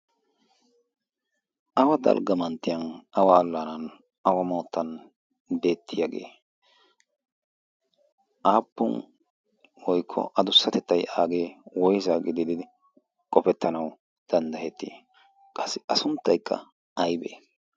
awa dalgga manttiyan awa allaanan awa mawuttan beettiyaagee aappun woikko a dussatettay aagee woyse? gididi qofettanau danddahettii qassi a sunttaikka aybee?